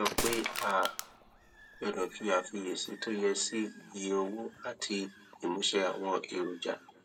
ó sọ pé a gbọdọ fi àfiyèsí tó yẹ sí iye owó àti ìmúṣẹ àwọn èròjà